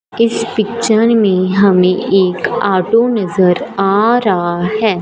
इस पिक्चर मे हमें एक ऑटो नजर आ रहा है।